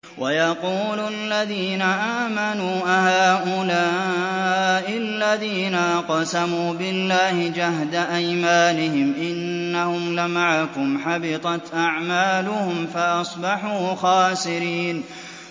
وَيَقُولُ الَّذِينَ آمَنُوا أَهَٰؤُلَاءِ الَّذِينَ أَقْسَمُوا بِاللَّهِ جَهْدَ أَيْمَانِهِمْ ۙ إِنَّهُمْ لَمَعَكُمْ ۚ حَبِطَتْ أَعْمَالُهُمْ فَأَصْبَحُوا خَاسِرِينَ